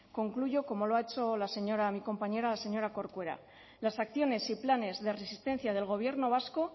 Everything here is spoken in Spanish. concluyo como lo ha hecho la señora mi compañera la señora corcuera las acciones y planes de resistencia del gobierno vasco